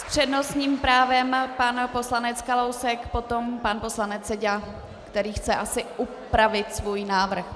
S přednostním právem pan poslanec Kalousek, potom pan poslanec Seďa, který chce asi upravit svůj návrh.